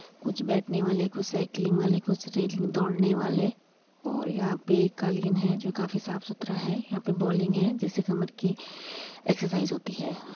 कुछ बैठने वाले कुछ साइकिलिंग वाले कुछ दौड़ने वाले और यहां पे एक कालीन है जो काफी साफ-सुथरा है। यहाँ पे बॉलिंग है जिससे कमर की एक्सर्साइज़ होती है।